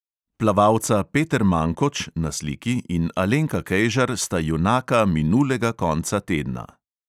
Plavalca peter mankoč (na sliki) in alenka kejžar sta junaka minulega konca tedna.